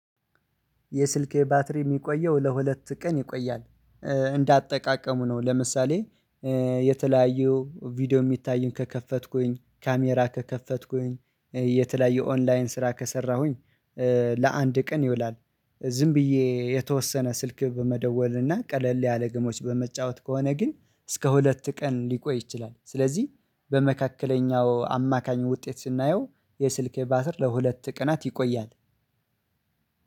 የስልኬ ባትሪ የሚቆየው ለሁለት ቀን ይቆያል። እንዳጠቃቀሙ ነው ለምሳሌ የተለያዩ ቪዲዮ የሚታዩኝ ከከፈትኩኝ ካሜራ ከከፈትኩኝ የተለያዩ ኦንላይን ስራ ከሰራሁኝ ለአንድ ቀን ይውላል። ዝም ብዬ የተወሰነ ስልክ በመደወል እና ቀለል ያለ ግሞች በመጫወት ከሆነ ግን እስከ ሁለት ቀን ሊቆይ ይችላል። ስለዚህ በመካከለኛው አማካኝ ውጤት ስናየው የስልኬ ባትር ለሁለት ቀናት ይቆያል።